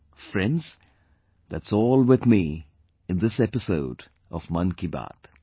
Friends, that's all with me in this episode of 'Mann Ki Baat'